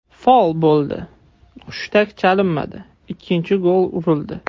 Fol bo‘ldi, hushtak chalinmadi, ikkinchi gol urildi.